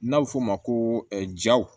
N'a bɛ f'o ma ko jaw